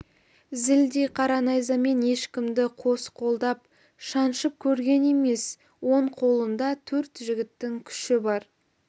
зілдей қара найзамен ешкімді қос қолдап шаншып көрген емес оң қолында төрт жігіттің күші бар